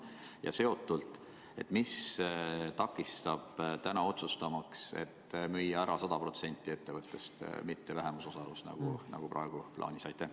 Ja sellega seotult: mis takistab otsustamast, et müüa ära 100% ettevõttest, mitte vähemusosalust, nagu praegu on plaanis?